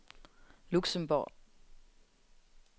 Luxembourg